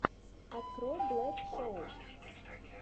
открой блэк шоу